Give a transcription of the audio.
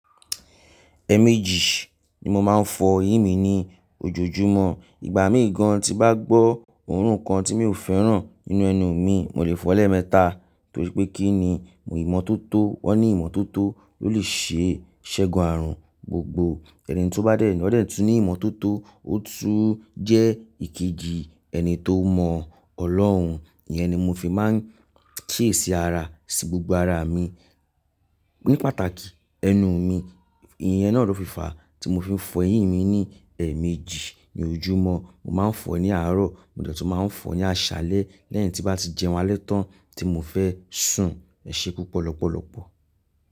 Ẹ̀méjì ni mo máa ń fọ eyín mi ní ojoojúmọ́. Ìgbà mí gan tín bá gbọ́ òórùn kan tí mi ò fẹ́ràn nínú ẹnu mi, mo lè fọ lẹ̀ mẹ́ta. Torí pé kí ni? Ìmọ́tótó, wọ́n ní ìmọ́tótó ló lè ṣe ṣẹ́gun ààrùn gbogbo. Ẹni tó bá dẹ̀ ní, won dẹ tun ní ìmọ́tótó, ó tún jẹ́ ìkejì ẹni tó mọ Ọlọ́run. Iyẹn ni mo fi máa ń kiyeṣi ara, ṣí gbogbo ara mi. Ní pàtàkì ẹnu mi. Iyẹn náà ló fìfà tí mo fiń fọ eyín mi ní ẹ̀ méjì ní ojúmọ́. Mo máa ń fọ ní àárọ̀, mo dẹ̀ tún máa ń fọ ní àṣálẹ́ lẹ́yìn tí bá ti jẹun alẹ́ tán tí mo fẹ́ sùn. Ẹ̀ ṣe púpọ̀ lọ́pọ̀lọ́pọ̀.